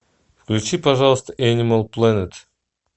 включи пожалуйста энимал плэнет